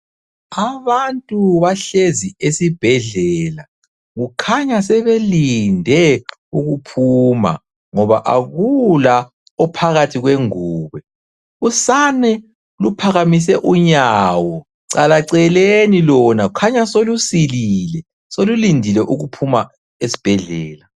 Abantu bahlezi esibhedlela, kukhanya sebelinde ukuphuma, ngoba akula ophakathi kwengubo. Usane luphakamise unyawo, calaceleni lona kukhanya solusilili solulindile ukuphuma esibhedlela.